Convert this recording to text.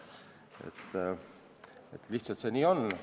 See lihtsalt nii on.